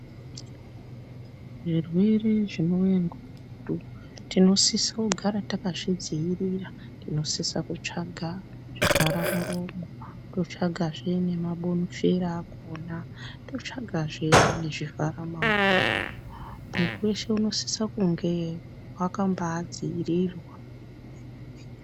Zvirwere zvinouye ngomututu tinosise kugara takazvidziirira. Tinosisa kutsvaga zvivhara muromo, totsvagazve nemabonifera akona. Totsvagazve nezvivhara maoko. Mwiiri weshe unosise kunge wakambaadziirirwa.